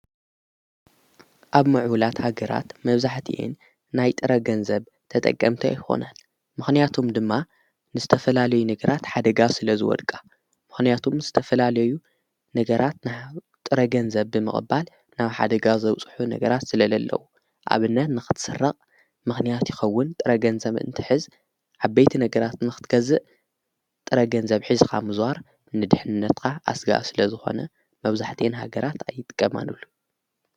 ኣብ ምዕሁላት ሃገራት መብዛሕት የን ናይ ጥረገንዘብ ተጠገምቲ ኣይኮናን ምኽንያቶም ድማ ንስተፈላለዩ ነገራት ሓደጋ ስለ ዝወድቃ ምኽንያቱም ስተፈላለዩ ነገራት ና ጥረገንዘብ ብምቕባል ናብ ሓደጋ ዘውጽሑ ነገራት ስለለ ኣለዉ ኣብነት ንኽትሠርቕ ምኽንያት ይኸውን ጥረገንዘም እንቲ ሕዝ ዓበይቲ ነገራት ንኽትገዝእ ጥረገንዘብ ኂዝኻ ምዙዋር ንድኅነትካ ኣሥጋ ስለ ዝኾነ መብዛሕት የን ሃገራት ኣይጥቀማኑሉ::